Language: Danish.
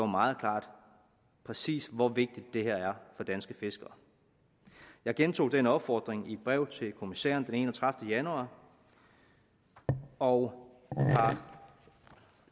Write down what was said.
meget klart præcis hvor vigtigt det her er for danske fiskere jeg gentog den opfordring i et brev til kommissæren den enogtredivete januar og har